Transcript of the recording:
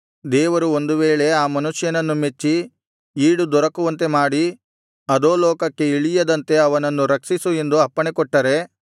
ದೇವರು ಒಂದು ವೇಳೆ ಆ ಮನುಷ್ಯನನ್ನು ಮೆಚ್ಚಿ ಈಡು ದೊರಕುವಂತೆ ಮಾಡಿ ಅಧೋಲೋಕಕ್ಕೆ ಇಳಿಯದಂತೆ ಇವನನ್ನು ರಕ್ಷಿಸು ಎಂದು ಅಪ್ಪಣೆಕೊಟ್ಟರೆ